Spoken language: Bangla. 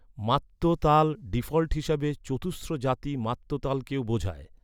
মাত্য তাল ডিফল্ট হিসেবে চতুস্র জাতি মাত্য তালকেও বোঝায়।